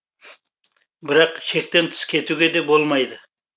бірақ шектен тыс кетуге де болмайды